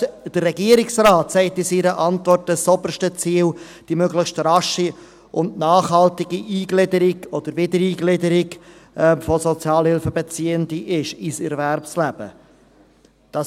Selbst der Regierungsrat sagt in seiner Antwort, dass das oberste Ziel die möglichst rasche und nachhaltige Eingliederung oder Wiedereingliederung von Sozialhilfebeziehenden ins Erwerbsleben ist.